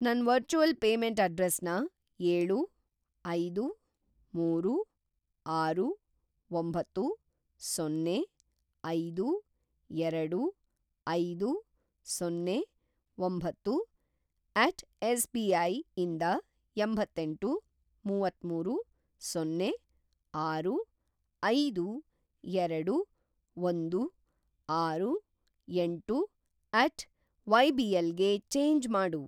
ನನ್‌ virtual payment ಅಡ್ರೆಸ್‌ನ ಏಳು, ಐದು, ಮೂರು, ಆರು, ಒಂಬತ್ತು, ಸೊನ್ನೆ, ಐದು, ಎರಡು, ಐದು, ಸೊನ್ನೆ, ಒಂಬತ್ತು ಎಟ್ ಎಸ್.ಬಿ.ಐ ಇಂದ ಎಂಬತ್ತೆಂಟು, ಮುವತ್ತಮೂರು, ಸೊನ್ನೆ, ಆರು, ಐದು, ಎರಡು, ಒಂದು, ಆರು, ಎಂಟು ಎಟ್ ವೈಬಿಎಲ್ ಗೆ ಚೇಂಜ್‌ ಮಾಡು.